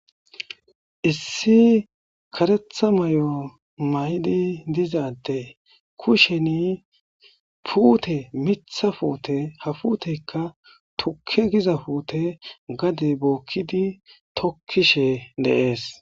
issi karetha mayo maydi diza adde kusheni puute mitha puute ha futeykka tukke giza puute gade bookkidi tokkishe dees